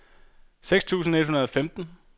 seks tusind et hundrede og femten